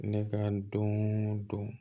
Ne ka don o don